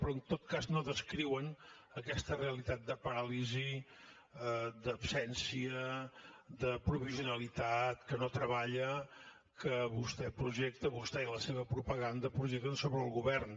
però en tot cas no descriuen aquesta realitat de paràlisi d’absència de provisionalitat que no treballa que vostè i la seva propaganda projecten sobre el govern